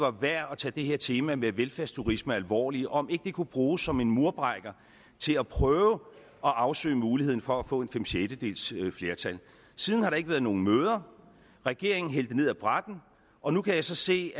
er værd at tage det her tema med velfærdsturisme alvorligt og om ikke det kunne bruges som en murbrækker til at prøve at afsøge muligheden for at få et fem sjettedeles flertal siden har der ikke været nogen møder regeringen hældte det ned ad brættet og nu kan jeg så se